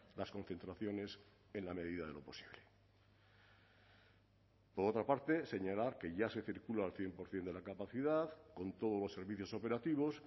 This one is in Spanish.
las concentraciones en la medida de lo posible por otra parte señalar que ya se circula al cien por ciento de la capacidad con todos los servicios operativos